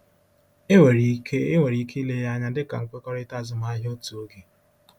Enwere ike Enwere ike ile ya anya dị ka nkwekọrịta azụmahịa otu oge.